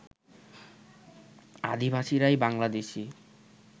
আদিবাসীরাই Bangladeshi